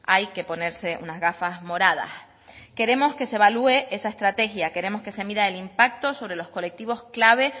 hay que ponerse unas gafas moradas queremos que se evalúe esa estrategia queremos que se mida el impacto sobre los colectivos clave